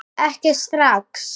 Ekki strax!